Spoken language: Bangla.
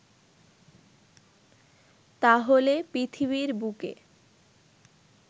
তাহলে পৃথিবীর বুকে